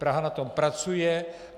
Praha na tom pracuje.